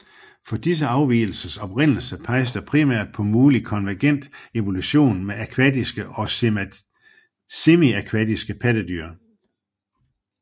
For disse afvigelsers oprindelse peges der primært på mulig konvergent evolution med akvatiske og semiakvatiske pattedyr